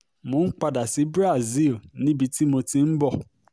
mo n pada si Brazil nibi ti mo ti n bọ̀